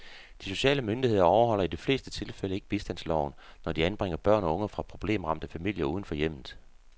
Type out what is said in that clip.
De sociale myndigheder overholder i de fleste tilfælde ikke bistandsloven, når de anbringer børn og unge fra problemramte familier uden for hjemmet.